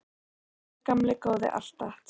Þá er það bara gamli góði Atlas.